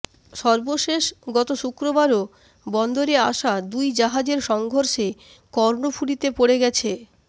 সর্বশেষ গত শুক্রবারও বন্দরে আসা দুই জাহাজের সংঘর্ষে কর্ণফুলীতে পড়ে গেছে